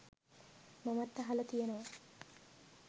මමත් අහලා තියෙනවා